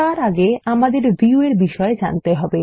তার আগে আমাদের ভিউ এর বিষয় জানতে হবে